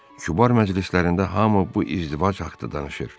Kübar məclislərində hamı bu izdivac haqqında danışır.